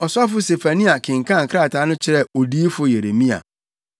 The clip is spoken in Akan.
Ɔsɔfo Sefania kenkan krataa no kyerɛɛ odiyifo Yeremia.